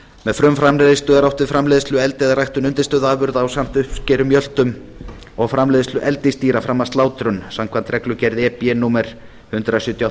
með frumframleiðslu er átt við framleiðslu eldi eða ræktun undirstöðuafurða ásamt uppskeru mjöltum og framleiðslu eldisdýra fram að slátrun samkvæmt reglugerð e b númer hundrað sjötíu og